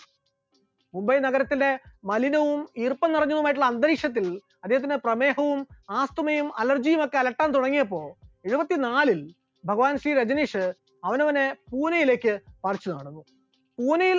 മുംബൈ നഗരത്തിന്റെ മലിനവും ഈർപ്പം നിറഞ്ഞതുമായിട്ടുള്ള അന്തരീക്ഷത്തിൽ അദ്ദേഹത്തിന് പ്രമേഹവും ആസ്മയും allergy യുമൊക്കെ അലട്ടാൻ തുടങ്ങിയപ്പോൾ എഴുപത്തിനാലിൽ ഭഗവാൻ ശ്രീ രജനീഷ് അവനവനെ പുനെയിലേക്ക് പറിച്ചുനടുന്നു, പൂനെയിൽ